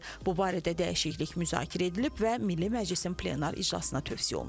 Bu barədə dəyişiklik müzakirə edilib və Milli Məclisin plenar iclasına tövsiyə olunub.